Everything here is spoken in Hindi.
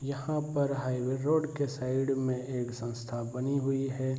यहाँ पर हाईवे रोड के साइड में एक संस्था बनी हुई है।